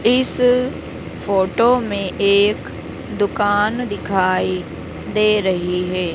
इस फोटो में एक दुकान दिखाई दे रही है।